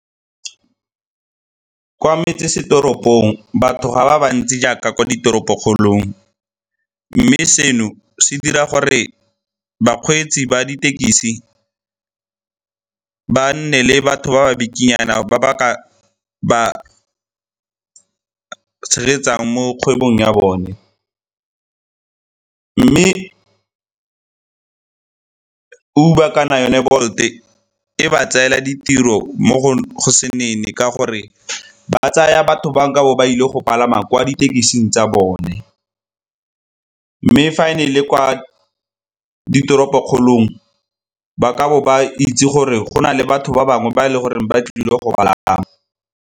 Kwa metsesetoropong, batho ga ba ba ntsi jaaka kwa ditoropokgolong, mme seno se dira gore bakgweetsi ba ditekisi ba nne le batho ba ba bikinyana ba ba ka ba tshegetsang mo kgwebong ya bone. Mme Uber kana yone Bolt-e e ba tseela ditiro mo go se nene ka gore ba tsaya batho ba nkabo ba ile go palama kwa ditekising tsa bone. Mme fa e ne e le kwa ditoropokgolong ba nkabo ba itse gore go na le batho ba bangwe ba e le goreng ba tlile go palama.